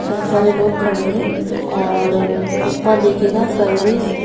कई सारे लोग खड़े हैं और ऊपर देखिएगा सर्विस --